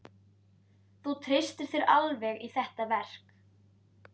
Þú treystir þér alveg í þetta verk?